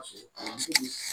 Kalanso